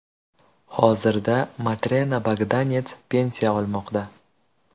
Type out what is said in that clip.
Hozirda Matrena Bogdanets pensiya olmoqda.